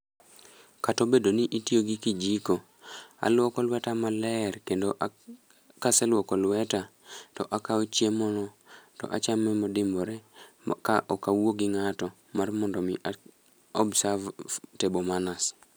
Kato bedo ni itiyo gi kijiko, alwoko lweta maler kendo ak kaseluoko lweta to akawo chiemo no to achame modimbore. Ka okawuo gi ng'ato mar mondo mi a observe table manners.